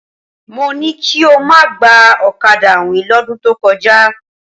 Mo ní kí o má gba ọ̀kadà àwìn lọ́dún tó kọjá.